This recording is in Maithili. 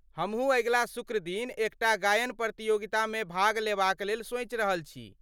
हमहूँ अगिला शुक्र दिन एकटा गायन प्रतियोगितामे भाग लेबाक लेल सोचि रहल छी।